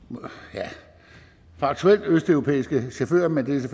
ja faktuelt østeuropæiske chauffører men det